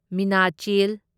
Meenachil